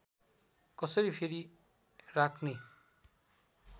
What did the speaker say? कसरी फेरि राख्ने